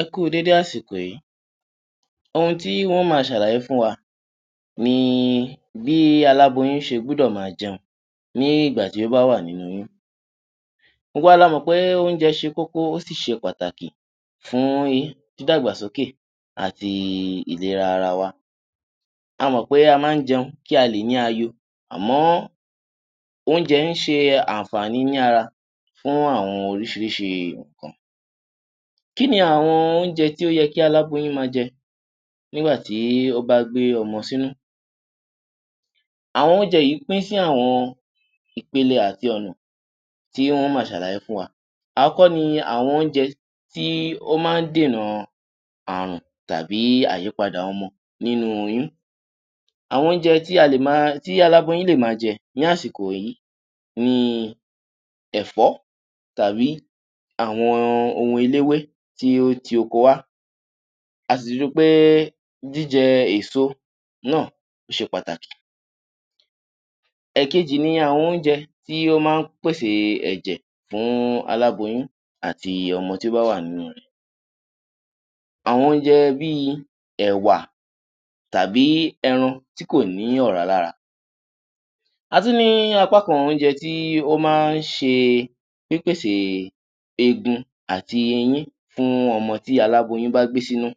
Ẹ kú u dédé àsìkò yìí. Ohun tí ń ó máa ṣàlàyé fún wa ni bí aláboyún ṣe gbọ́dọ̀ máa jẹun ní ìgbà tí ó bá wà nínú oyún. Gbogbo wa la mọ̀ pé oúnjẹ ṣe kókó, ó sì ṣe pàtàkì fún dídàgbàsókè àti ìlera ara wa. A mọ̀ pé a máa ń jẹun kí a lè ní aayo, àmọ́, oúnjẹ ń ṣe àǹfààní ní ara fún àwọn oríṣìíríṣìí nǹkan. Kí ni àwọn oúnjẹ tí ó yẹ kí aláboyún máa jẹ nígbà tí ó bá gbé ọmọ sínú? Àwọn oúnjẹ yìí pín sí àwọn ìpele àti ọ̀nà tí n ó máa ṣàlàyé fún wa. Àọ́kọ́ ni àwọn oúnjẹ tí ó máa ń dènà ààrùn tàbí àyípadà ọmọ nínú oyún. Àwọn oúnjẹ tí a lè máa, tí aláboyún lè máa jẹ́ ní àsìkò yìí ni; ẹ̀fọ́ tàbí àwọn ohun eléwé tí ó ti oko wá, a sì tún ri pé jíjẹ èso náà, ó ṣe pàtàkì. Ẹ̀kẹjì ni àwọn oúnjẹ tí ó máa ń pèsè ẹ̀jẹ̀ fún aláboyún àti ọmọ tí ó bá wà nínú rẹ̀. Àwọn oúnjẹ bí i: ẹ̀wà, tàbí ẹran tí kò ní ọ̀rá lára. A tún ní apá kan oúnjẹ tí ó máa ń ṣe pípèsè eegun àti eyín fún ọmọ tí aláboyún bá gbé sínú.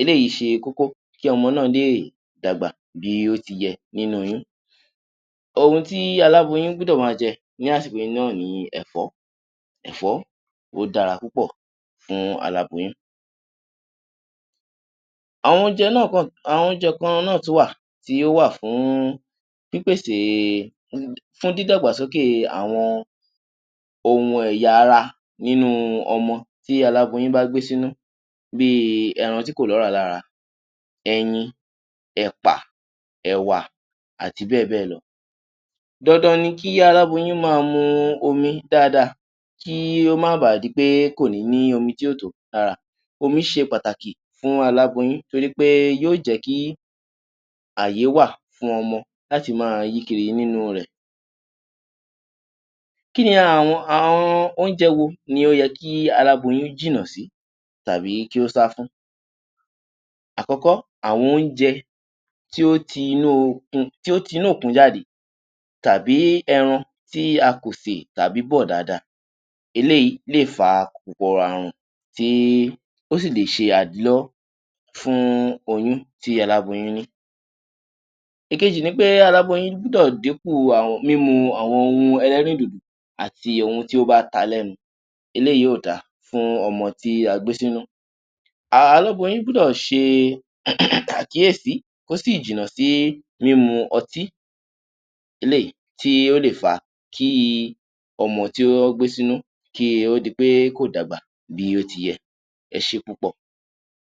Eléyìí ṣe kókó kí ọmọ náà lè dàgbà bí ó ti yẹ nínú oyún. Ohun tí aláboyún gbúdọ̀ máa jẹ ní àsìkò yìí náà ni ẹ̀fọ́. Ẹ̀fọ́ ó dára púpọ̀ fún aláboyún. Àwọn oúnjẹ náà kan, àwọn oúnjẹ kan náa tún wà, tí ó wà fún pípèsè, fún dídàgbàsókè àwọn ohun ẹ̀yà ara nínú ọmọ tí aláboyún bá gbé sínú, bí i ẹran tí kò lọ́ràá lára, ẹyin, ẹ̀pà, ẹ̀wà àti bẹ́ẹ̀ bẹ́ẹ̀ lọ. Dandan ni kí aláboyún máa mu omi dáadáa, kí ó ma ba à di pé kò ní ní omi tí ò tó lára. Omi ṣe pàtàkì fún aláboyún torí pé yóó jẹ́ kí ààyè wà fún ọmọ láti máa yí kiri nínú rẹ̀. Kí ni àwọn, àwọn oúnjẹ wo ni ó yẹ kí aláboyún jìnà sí tàbí kí ó sá fún? Àkọ́kọ́, àwọn oúnjẹ tí ó ti inú okun, tí ó ti inú òkun jáde tàbí ẹran tí a kò sè tàbí bọ̀ dáadáa. Eléyìí lè fa kòkòrò ààrùn, tí ó sì lè ṣe àdílọ́wọ́ fún oyún tí aláboyún ní. Ìkejì ni pé aláboyún gbúdọ̀ dínkù mímu àwon ohun ẹlẹ́rìndòdò àti ohun tí ó bá ta lẹ́nu. Eléyìí ò da fún ọmọ tí a gbé sínú. Aláboyún gbúdọ̀ ṣe àkíyèsí, kó sì jìnà sí mímu ọtí, eléyìí tí ó lè fa kí ọmọ tí ó gbé sínú, kí ó di pé kò dàgbà bí ó ti yẹ. Ẹ ṣé púpọ̀!